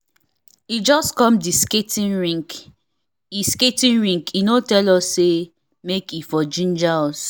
e just come the skating rink e skating rink e no tell us say make e for ginger us